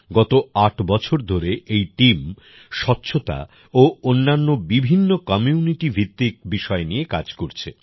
গত আট বছর ধরে এই টিম স্বচ্ছতা ও অন্যান্য বিভিন্ন কমিউনিটি ভিত্তিক বিষয় নিয়ে কাজ করছে